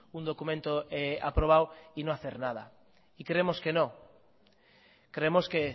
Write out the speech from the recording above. un documento aprobado y no hacer nada y creemos que no creemos que